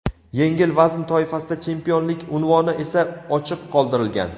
Yengil vazn toifasida chempionlik unvoni esa ochiq qoldirilgan.